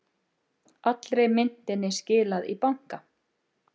Allri myntinni skilað í banka